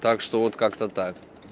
так что вот как-то так